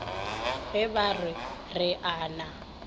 ge ba re o na